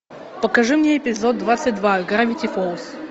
покажи мне эпизод двадцать два гравити фолз